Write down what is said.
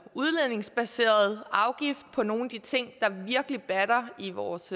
udledningsbaseret afgift på nogle af de ting der virkelig batter i vores